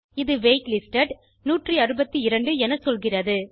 இது wait listed 162 என சொல்கிறது